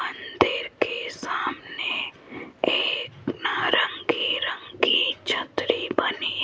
मंदिर के सामने एक नारंगी रंग की छतरी बनी --